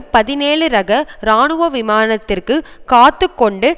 பதினேழு ரக இராணுவ விமானத்திற்குக் காத்து கொண்டு